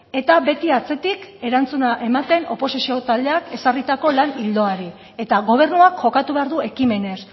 eta beti atzetik erantzuna ematen oposizio taldeak ezarritako lan ildoari eta gobernuak jokatu behar du ekimenez